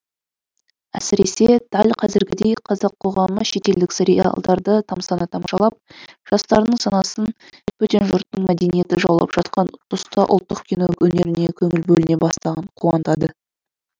әсіресе дәл қазіргідей қазақ қоғамы шетелдік сериалдарды тамсана тамашалап жастардың санасын бөтен жұрттың мәдениеті жаулап жатқан тұста ұлттық кино өнеріне көңіл бөліне бастағаны қуантады